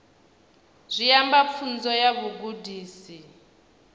zwi amba pfunzo ya vhugudisi